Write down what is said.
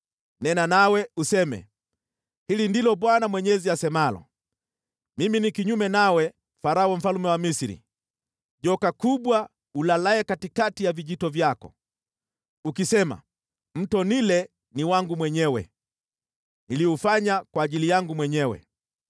Nena, nawe useme: ‘Hili ndilo Bwana Mwenyezi asemalo: “ ‘Mimi ni kinyume nawe, Farao, mfalme wa Misri, joka kubwa ulalaye katikati ya vijito vyako. Unasema, “Mto Naili ni wangu mwenyewe; niliufanya kwa ajili yangu mwenyewe.”